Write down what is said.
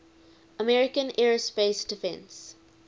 american aerospace defense